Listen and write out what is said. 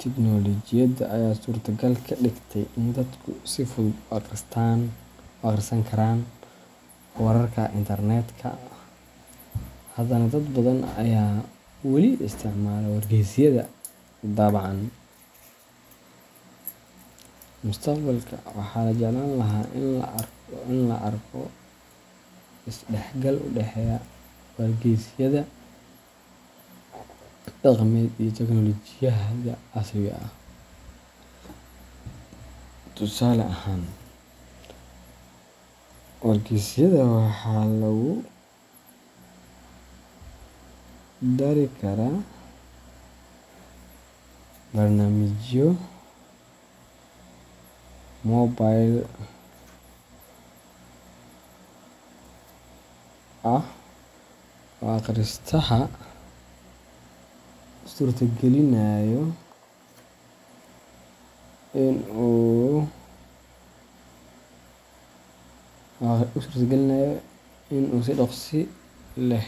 tiknoolajiyada ayaa suurtagal ka dhigay in dadku si fudud ugu akhrisan karaan wararka internetka, haddana dad badan ayaa wali isticmaala wargeysyada daabacan. Mustaqbalka, waxaa la jeclaan lahaa in la arko isdhexgal u dhexeeya wargeysyada dhaqameed iyo tiknoolajiyada casriga ah. Tusaale ahaan, wargeysyada waxaa lagu dari karaa barnaamijyo mobile ah oo akhristaha u suurtagelinaya in uu si dhakhso leh.